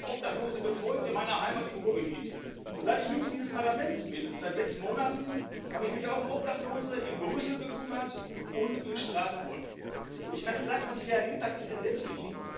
Ich habe Obdachlose betreut in meiner Heimat im Ruhrgebiet, und seit ich Mitglied dieses Parlaments bin seit sechs Monaten habe ich mich auch um Obdachlose in Brüssel und in Straßburg gekümmert. Und ich kann Ihnen sagen, was ich da erlebt habe, ist entsetzlich.